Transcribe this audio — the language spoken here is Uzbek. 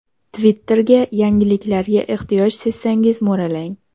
Twitter’ga yangiliklarga ehtiyoj sezsangiz mo‘ralang.